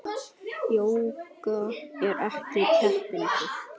Jóga er ekki keppni.